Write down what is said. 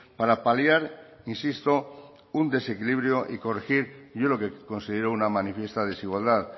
para paliar insisto un desequilibrio y corregir yo lo que considero una manifiesta desigualdad